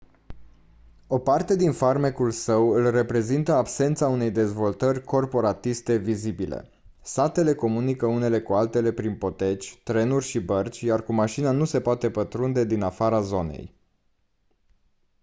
o parte din farmecul său îl reprezintă absența unei dezvoltări corporatiste vizibile satele comunică unele cu altele prin poteci trenuri și bărci iar cu mașina nu se poate pătrunde din afara zonei